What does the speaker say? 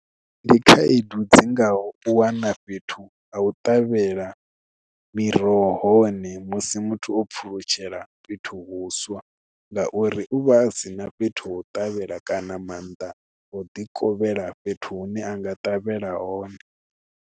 Ndi khaedu dzi ngaho u wana fhethu a u ṱavhela miroho hone musi muthu o pfulutshela fhethu vhuswa ngauri u vha sina fhethu ha u ṱavhela kana mannḓa o ḓi kovhela fhethu hune a nga ṱavhela hone.